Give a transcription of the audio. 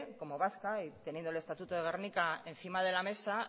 como vasca y teniendo el estatuto de gernika encima de la mesa